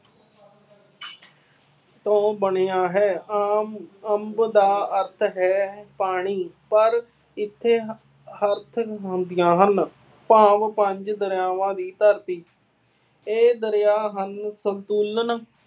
ਤੋਂ ਬਣਿਆ ਹੈ। ਆਮ ਅੰਬ ਦਾ ਅਰਥ ਹੈ ਪਾਣੀ, ਪਰ ਇੱਥੇ ਹੁੰਦੀਆਂ ਹਨ। ਭਾਵ ਪੰਜ ਦਰਿਆਵਾਂ ਦੀ ਧਰਤੀ ਇਹ ਦਰਿਆ ਹਨ ਸੰਤੁਲਨ